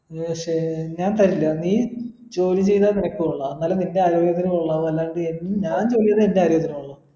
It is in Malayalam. പക്ഷെ ഞാൻ തരില്ല നീ ജോലി ചെയ്താ നിനക്ക് കൊള്ളാ എന്നാൽ നിൻ്റെ ആരോഗ്യത്തിന് കൊള്ളാവു അല്ലാതെ എൻ ഞാൻ ചെയ്താ എൻ്റെ ആരോഗ്യത്തിന് കൊള്ളാ